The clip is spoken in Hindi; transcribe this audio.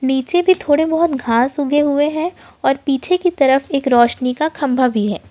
नीचे भी थोड़े बहुत घास उगे हुए हैं और पीछे की तरफ एक रोशनी का खंभा भी है।